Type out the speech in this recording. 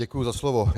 Děkuji za slovo.